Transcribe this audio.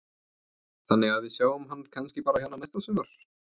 Þannig að við sjáum hann kannski bara hérna næsta sumar?